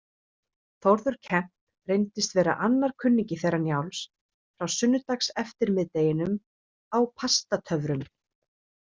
Þórður Kemp reyndist vera annar kunningi þeirra Njáls frá sunnudagseftirmiðdeginum á Pastatöfrum.